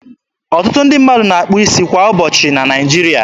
Ọtụtụ ndị mmadụ na-akpụ isi kwa ụbọchị na Naịjiri.